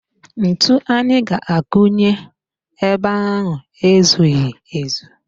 Ntu anyị ga-akụ nye ebe ahụ ezughị ezu